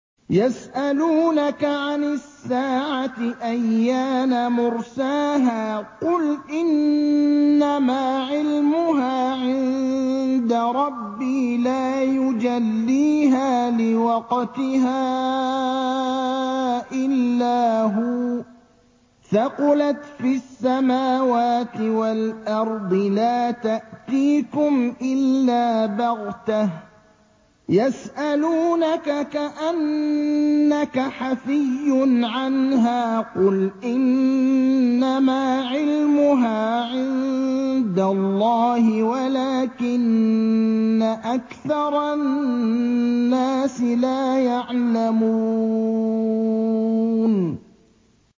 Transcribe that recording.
يَسْأَلُونَكَ عَنِ السَّاعَةِ أَيَّانَ مُرْسَاهَا ۖ قُلْ إِنَّمَا عِلْمُهَا عِندَ رَبِّي ۖ لَا يُجَلِّيهَا لِوَقْتِهَا إِلَّا هُوَ ۚ ثَقُلَتْ فِي السَّمَاوَاتِ وَالْأَرْضِ ۚ لَا تَأْتِيكُمْ إِلَّا بَغْتَةً ۗ يَسْأَلُونَكَ كَأَنَّكَ حَفِيٌّ عَنْهَا ۖ قُلْ إِنَّمَا عِلْمُهَا عِندَ اللَّهِ وَلَٰكِنَّ أَكْثَرَ النَّاسِ لَا يَعْلَمُونَ